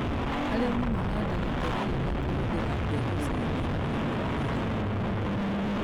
Arĩmi mahandaga terere na kũhũthĩra mbegũ ciĩna ũgima mwega